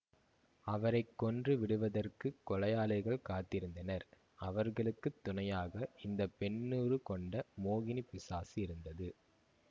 அவரை கொன்று விடுவதற்குக் கொலையாளிகள் காத்திருந்தனர் அவர்களுக்கு துணையாக இந்த பெண்ணுருக் கொண்ட மோகினிப் பிசாசு இருந்தது